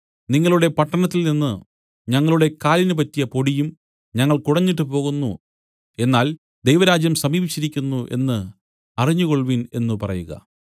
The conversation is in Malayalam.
നിങ്ങളുടെ പട്ടണത്തിൽനിന്നു ഞങ്ങളുടെ കാലിന് പറ്റിയ പൊടിയും ഞങ്ങൾ കുടഞ്ഞിട്ടുപോകുന്നു എന്നാൽ ദൈവരാജ്യം സമീപിച്ചിരിക്കുന്നു എന്നു അറിഞ്ഞുകൊൾവിൻ എന്നു പറയുക